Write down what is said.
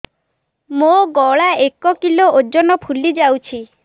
ମୋ ଗଳା ଏକ କିଲୋ ଓଜନ ଫୁଲି ଯାଉଛି